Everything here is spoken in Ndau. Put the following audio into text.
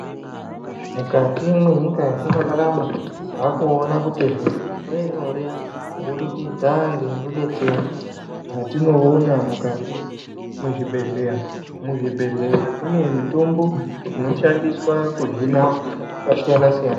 Mukati mwenyika yatinorarama taakuona kuti zviro zvaanyore kubudikidza ngerudetsero rwatinoona mukati mwezvibhehleya ,muzvibhehleya mune mitombo inoshandiswa kuhina hosha dzakasiyanasiyana.